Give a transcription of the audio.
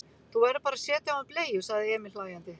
Þú verður bara að setja á hann bleiu, sagði Emil hlæjandi.